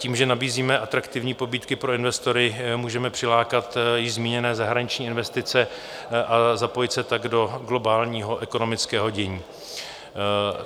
Tím, že nabízíme atraktivní pobídky pro investory, můžeme přilákat již zmíněné zahraniční investice a zapojit se tak do globálního ekonomického dění.